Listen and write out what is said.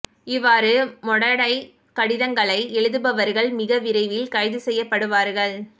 இவ்வாறு மொடடைக் கடிதங்களை எழுதுபவர்கள் மிக விரைவில் கைது செய்யப்படுவார்கள்